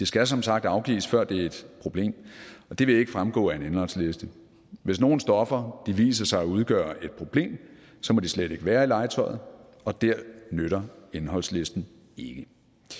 skal som sagt afgives før det er et problem og det vil ikke fremgå af en indholdsliste hvis nogen stoffer viser sig at udgøre et problem må de slet ikke være i legetøjet og der nytter indholdslisten ikke